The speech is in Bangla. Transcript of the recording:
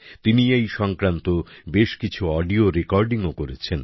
তিনি এই সংক্রান্ত বেশ কিছু অডিও রেকর্ডিংও করেছেন